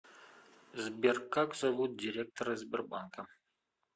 сбер как зовут директора сбербанка